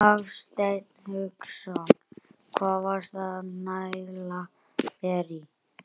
Hafsteinn Hauksson: Hvað varstu að næla þér í?